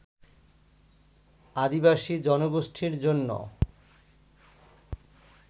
আদিবাসী জনগোষ্ঠীর জন্য